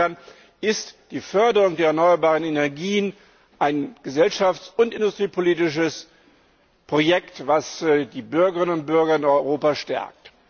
Insofern ist die Förderung der erneuerbaren Energien ein gesellschafts und industriepolitisches Projekt, das die Bürgerinnen und Bürger in Europa stärkt.